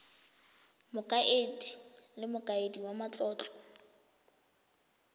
mokaedi le mokaedi wa matlotlo